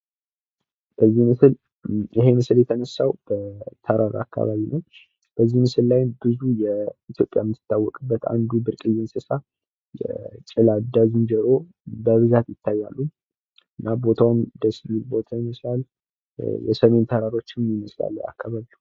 ይህ ምስል የተነሳው ተተራ አካባቢ ነዉ :: በዚህ ምስል ላይም ብዙ ኢትዮፕያ እምትታወቅበት አንዱ ጭላዳ ዝንጀሮ ይታያል።